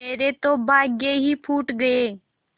मेरे तो भाग्य ही फूट गये